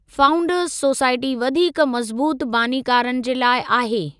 Founders society वधीक मज़बूतु बानीकारनि जे लाइ आहे।